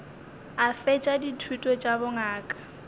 a fetša dithuto tša bongaka